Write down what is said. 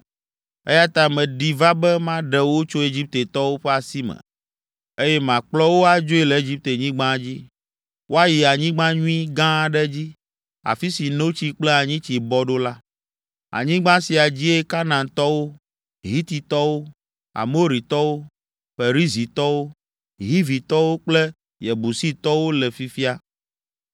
eya ta meɖi va be maɖe wo tso Egiptetɔwo ƒe asi me, eye makplɔ wo adzoe le Egiptenyigba dzi, woayi anyigba nyui, gã aɖe dzi, afi si notsi kple anyitsi bɔ ɖo la. Anyigba sia dzie Kanaantɔwo, Hititɔwo, Amoritɔwo, Perizitɔwo, Hivitɔwo kple Yebusitɔwo le fifia.